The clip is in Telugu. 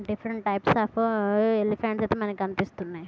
డిఫరెంట్ టిప్స్ అఫ్ ఎలీఫనట్స్ ఐతే మనకి కనిపిస్తున్నాయి.